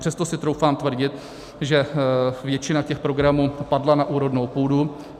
Přesto si troufám tvrdit, že většina těch programů padla na úrodnou půdu.